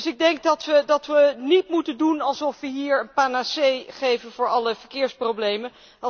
Ik denk daarom dat wij niet moeten doen alsof wij hier een panaché geven voor alle verkeersproblemen.